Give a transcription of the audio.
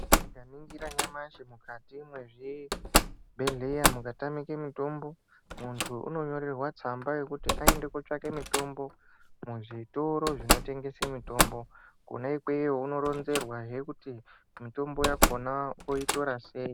Tikaningira nyamashi mukati me zvibhedhleya muka tamike mitombo muntu uno nyorerwa tsamba yekuti ayende ko tsvake mitombo mu zvitoro zvino tengese mitombo kona ikweyo uno ronzerwa hee kuti mitombo yakona oyitora sei.